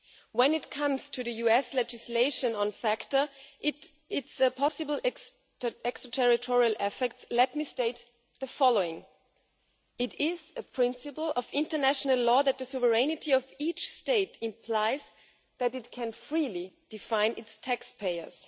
When it comes to the US legislation on FATCA and its possible extraterritorial effects, let me state the following it is a principle of international law that the sovereignty of each state implies that it can freely define its taxpayers.